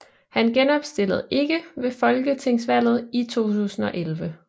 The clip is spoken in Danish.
Han genopstillede ikke ved folketingsvalget i 2011